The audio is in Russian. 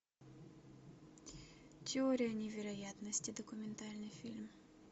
теория невероятности документальный фильм